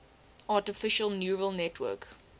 artificial neural network